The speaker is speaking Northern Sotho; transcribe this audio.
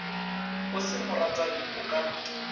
o se moratani o ka